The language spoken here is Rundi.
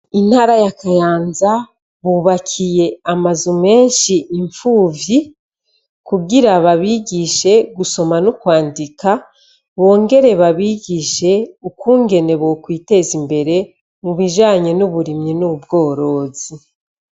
Mu ntara ya Kayanza hubakiye amazu meshi impfuvyi kugira babigishe gusoma no kwandika bongere babigishe ukungene bo kwiteza imbere mu bijanye n'uburimyi n'ubworozi.